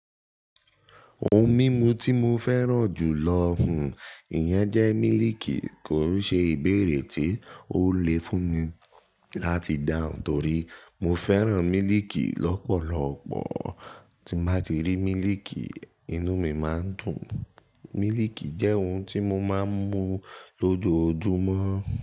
Ohun mímu tí mo fẹ́ràn jù lọ hún ìyẹn jẹ́ mílìkì, kò í ṣe ìbéèrè tí ó le fún mi láti dáhùn torí mo fẹ́ràn mílìkì lọ́pọ̀lọpọ̀. Tí mo bá ti rí mílìkì, inú mi máa ń dùn. Mílìkì jẹ́ ohun tí mo máa ń mu lójoojúmọ́